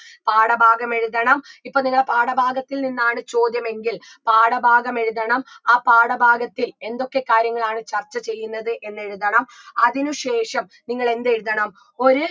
പാഠഭാഗം എഴുതണം ഇപ്പൊ നിങ്ങളുടെ പാഠഭാഗത്തിൽ നിന്നാണ് ചോദ്യമെങ്കിൽ പാഠഭാഗം എഴുതണം ആ പാഠഭാഗത്തിൽ എന്തൊക്കെ കാര്യങ്ങളാണ് ചർച്ച ചെയ്യുന്നത് എന്നെഴുതണം അതിനു ശേഷം നിങ്ങളെന്തെഴുതണം ഒരു